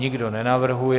Nikdo nenavrhuje.